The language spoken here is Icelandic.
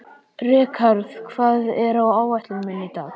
Rikharð, hvað er á áætluninni minni í dag?